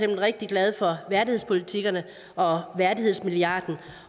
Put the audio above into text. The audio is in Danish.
rigtig glad for værdighedspolitikkerne og værdighedsmilliarden